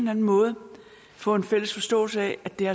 anden måde kan få en fælles forståelse af at det